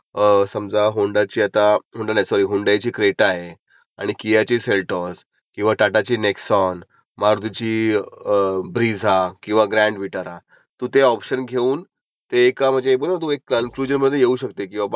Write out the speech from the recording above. अ समजा होन्डाची आता होन्डा नाही सॉरी हुन्दायची क्रेटा आहे, आणि कियाची ऍल्टॉज, किंवा टाटाची नेक्सॉन, मारूतीची ब्रीझा किंवा ग्रॅन्विटा. तू ते ऑप्शन घेऊन ते ऐका म्हणजे तू एका कन्क्युजनवर येऊ शकते. की बाबा